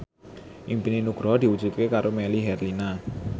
impine Nugroho diwujudke karo Melly Herlina